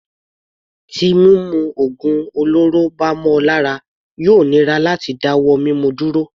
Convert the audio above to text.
Tí mímu ògùn olóró bá mọ ọ lára yóò nira àti dá wọ́ mímu dúró.